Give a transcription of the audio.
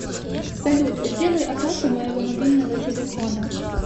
салют сделай оплату моего мобильного телефона